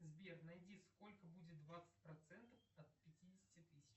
сбер найди сколько будет двадцать процентов от пятидесяти тысяч